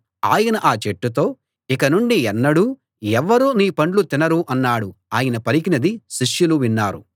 ఆయన ఆ చెట్టుతో ఇక నుండి ఎన్నడూ ఎవ్వరూ నీ పండ్లు తినరు అన్నాడు ఆయన పలికినది శిష్యులు విన్నారు